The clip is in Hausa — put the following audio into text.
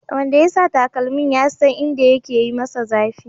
Wanda ya sa takalmin ya san inda yake yi masa zafi